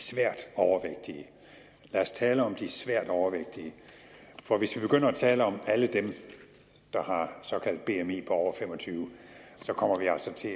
svært overvægtige lad os tale om de svært overvægtige for hvis vi begynder at tale om alle dem der har et såkaldt bmi på over fem og tyve kommer vi altså til